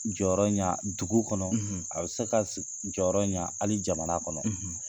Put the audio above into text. Jɔyɔrɔ ɲa dugu kɔnɔ ,, a bɛ se ka jɔyɔrɔ ɲa hali jamana kɔnɔ.